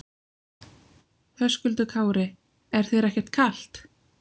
Höskuldur Kári: Er þér ekkert kalt?